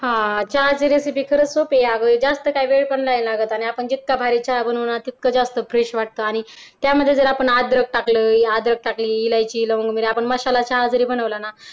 हा चहाची recipe खरच खूप सोप्पी आहे अगं जास्त काय वेळ पण नाय लागत आणि आपण जितका भारी चहा बनवू ना तितकं जास्त fresh वाटत आणि त्यामध्ये जर आपण टाकलं टाकलं इलायची लवंग मिरी आपण मसाला चहा जरी बनवला ना